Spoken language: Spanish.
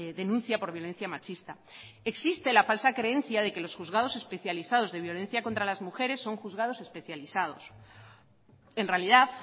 denuncia por violencia machista existe la falsa creencia de que los juzgados especializados de violencia contra las mujeres son juzgados especializados en realidad